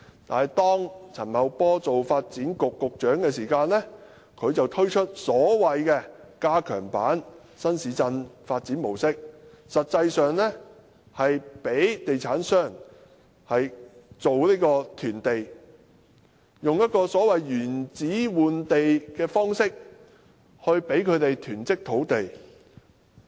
但是，當陳茂波擔任發展局局長時，他便推出所謂的加強版新市鎮發展模式，實際上是讓地產商囤地，以所謂的"原址換地"方式，來讓地產商囤積土地。